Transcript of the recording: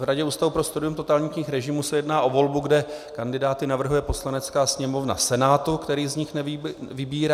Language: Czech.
V Radě Ústavu pro studium totalitních režimů se jedná o volbu, kde kandidáty navrhuje Poslanecká sněmovna Senátu, který z nich vybírá.